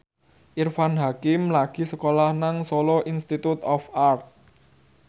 Irfan Hakim lagi sekolah nang Solo Institute of Art